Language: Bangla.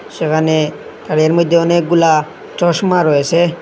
সেখানে আর এর মইধ্যে অনেকগুলা চশমা রয়েসে।